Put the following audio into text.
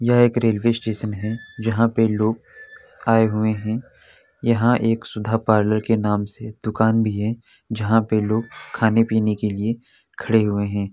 यह एक railway station है जहाँ पर लोग आए हुए हैं यहां एक सुधा-पार्लर के नाम से दुकान भी है जहां पे लोग खाने-पिने के लिए खड़े हुए हैं।